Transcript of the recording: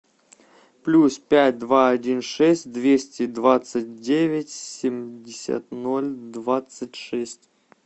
плюс пять два один шесть двести двадцать девять семьдесят ноль двадцать шесть